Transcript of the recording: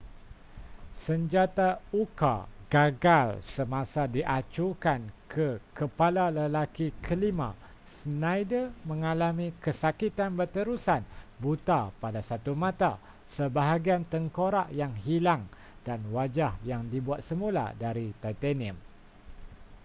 senjata uka gagal semasa diacukan ke kepala lelaki kelima schneider mengalami kesakitan berterusan buta pada satu mata sebahagian tengkorak yang hilang dan wajah yang dibuat semula dari titanium